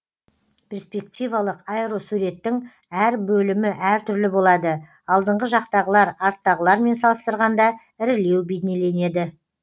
перспективалық аэросуреттің әр бөлімі әр түрлі болады алдыңғы жақтағылар арттағылармен салыстырғанда ірілеу бейнеленеді